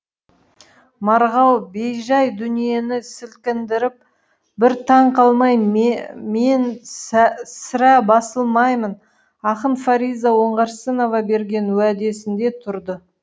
марғау бейжай дүниені сілкіндіріп бір таң қалмай мен сірә басылмаймын ақын фариза оңғарсынова берген уәдесінде тұрды